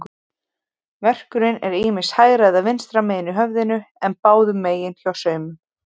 Verkurinn er ýmist hægra eða vinstra megin í höfðinu, en báðum megin hjá sumum.